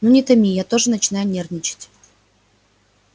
ну не томи я тоже начинаю нервничать